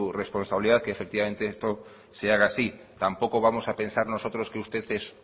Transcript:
responsabilidad que efectivamente esto se haga así tampoco vamos a pensar nosotros que usted es